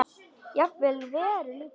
Jafnvel Heru líka.